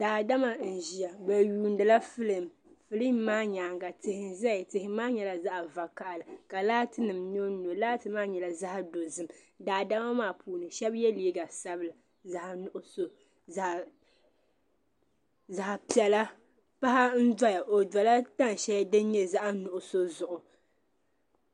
Daa dama n ziya bi yuuni la filim filim maa nyaaŋa tihi nzaya tihi maa nyɛla zaɣi vakahili ka laati nim nyɔ n nyɔ laati maa nyala zaɣi dozim daa dama maa puuni shab ye liiga sabila zaɣi nuɣuso zaɣi pɛla. paɣi n doya dola tan sheli din nyɛ zaɣi nuɣu sɔ zuɣu.